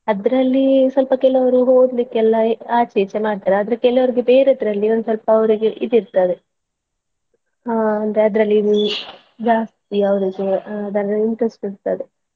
ಅದ್ರಲ್ಲಿ ಸ್ವಲ್ಪ ಕೆಲವರು ಓದ್ಲಿಕ್ಕೆಲ್ಲಾ ಆಚೆ ಈಚೆ ಮಾಡ್ತಾರೆ ಆದ್ರೆ ಕೆಲವ್ರಿಗೆ ಬೇರೆದ್ರಲ್ಲಿ ಒನ್ಸ್ವಲ್ಪ ಅವ್ರಿಗೆ ಇದಿರ್ತದೆ ಆಹ್ ಅಂದ್ರೆ ಅದ್ರಲ್ಲಿ ಜಾಸ್ತಿ ಅವರಿಗೆ ಅದ್ರಲ್ಲಿ interest ಇರ್ತದೆ.